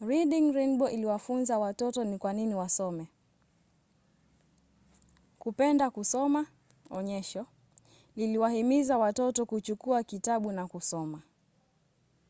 reading rainbow iliwafunza watoto ni kwa nini wasome, kupenda kusoma — [onyesho] liliwahimiza watoto kuchukua kitabu na kusoma.